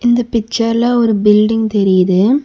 இந்த பிச்சர்ல ஒரு பில்டிங் தெரியுது.